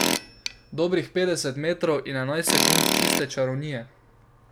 Dobrih petdeset metrov in enajst sekund čiste čarovnije.